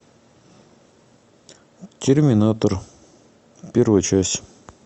терминатор первая часть